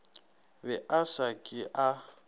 be a sa ke a